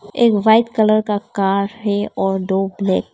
एक white colour का car है और दो ब्लैक ।